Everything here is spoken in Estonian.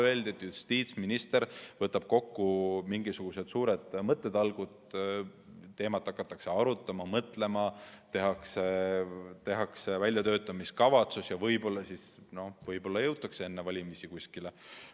Öeldi, et justiitsminister võtab kokku mingisugused suured mõttetalgud, teemat hakatakse arutama, mõtlema, tehakse väljatöötamiskavatsus ja võib-olla jõutakse enne valimisi kuskile.